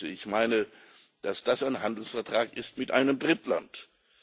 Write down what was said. Ich meine, dass das ein Handelsvertrag mit einem Drittland ist.